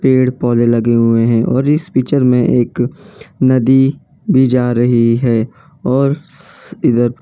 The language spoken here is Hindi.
पेड़ पौधे लगे हुए हैं और इस पिक्चर में एक नदी भी जा रही है और स्स इधर --